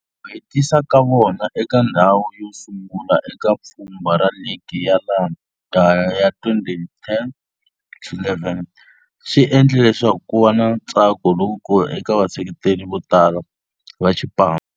Ku hetisa ka vona eka ndzhawu yosungula eka pfhumba ra ligi ya laha kaya ya 2010-11 swi endle leswaku kuva na ntsako lowukulu eka vaseketeri votala va xipano.